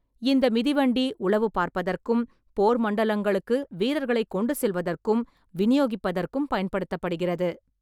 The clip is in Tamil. இந்த மிதிவண்டி உளவு பார்ப்பதற்கும், போர் மண்டலங்களுக்கு வீரர்களை கொண்டு செல்வதற்கும், விநியோகிப்பதற்கும் பயன்படுத்தப்படுகிறது.